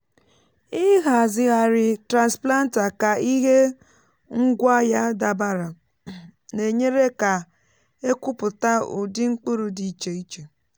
ịhazigharị transplanter ka ihe ngwá ya dabara na-enyere ka e kụpụta ụdị mkpụrụ dị iche iche.